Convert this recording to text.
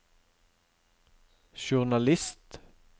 journalist